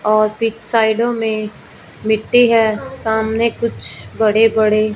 और फिर साइडों में मिट्टी है सामने कुछ बड़े बड़े--